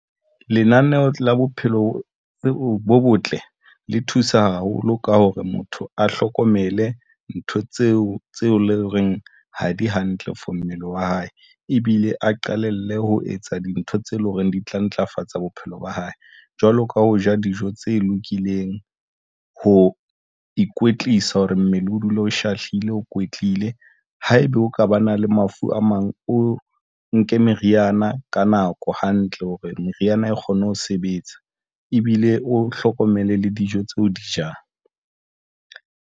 Lenaneo la bophelo bo botle le thusa haholo ka hore motho a hlokomele ntho tseo tse loreng ha di hantle for mmele wa hae ebile a qalelle ho etsa dintho tse leng hore di tla ntlafatsa bophelo ba hae jwalo ka ho ja dijo tse lokileng. Ho ikwetlisa hore mmele o dula o shahlile, o kwetlile. Haebe o ka ba na le mafu a mang, o nke meriana ka nako hantle hore meriana e kgone ho sebetsa ebile o hlokomele le dijo tse o di jang.